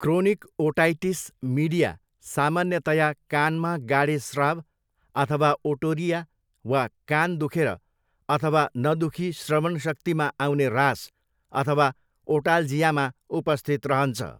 Chronic otitis media सामान्यतया कानमा गाडे स्राव अथवा ओटोरिया, वा कान दुखेर अथवा नदुखी श्रवन शक्तिमा आउने ह्रास अथवा ओटाल्जियामा उपस्थित रहन्छ।